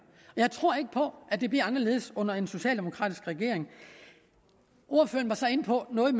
jeg tror ikke på at det bliver anderledes under en socialdemokratisk regering ordføreren var så inde på noget